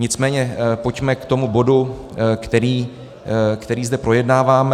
Nicméně pojďme k tomu bodu, který zde projednáváme.